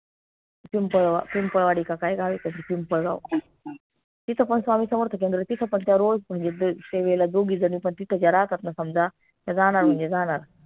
पिंपळ पिंपळवाडी की काय गाव आहे पिंपळगाव तिथं पन स्वामी समर्थ केंद्र आहे तिथं पन त्या रोज म्हनजे वेळेला दोघी झणी पन तिथं ज्या राहतात ना समजा त्या जानार म्हनजे जानार